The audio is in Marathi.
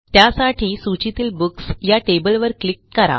त्यासाठी सूचीतील बुक्स या टेबलवर क्लिक करा